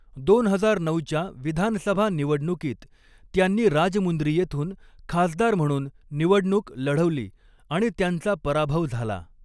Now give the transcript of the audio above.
दोन हजार नऊच्या विधानसभा निवडणुकीत त्यांनी राजमुंद्री येथून खासदार म्हणून निवडणूक लढवली आणि त्यांचा पराभव झाला.